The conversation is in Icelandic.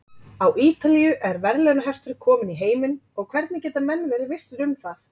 Á Ítalíu er verðlaunahestur kominn í heiminn og hvernig geta menn verið vissir um það?